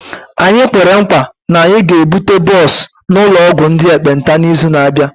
Anyị kwere nkwa na anyị ga-ebute bọs n'ụlọ ọgwụ ndị ekpenta n'izu na-abịa